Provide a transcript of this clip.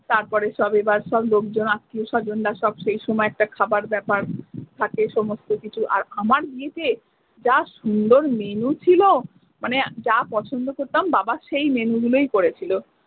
তারপরে সব এবার সব লোকজন আত্মীয় স্বজনরা সব সেই সময় একটা খাবার ব্যাপার থাকে সমস্ত কিছু আর আমার বিয়েতে যা সুন্দর মেনু ছিলো মানে যা পছন্দ করতাম বাবা সেই মেনু গুলোই করেছিলো।